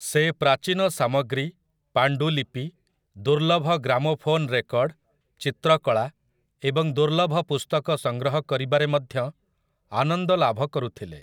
ସେ ପ୍ରାଚୀନ ସାମଗ୍ରୀ, ପାଣ୍ଡୁଲିପି, ଦୁର୍ଲଭ ଗ୍ରାମୋଫୋନ୍ ରେକର୍ଡ, ଚିତ୍ରକଳା ଏବଂ ଦୁର୍ଲଭ ପୁସ୍ତକ ସଂଗ୍ରହ କରିବାରେ ମଧ୍ୟ ଆନନ୍ଦ ଲାଭ କରୁଥିଲେ ।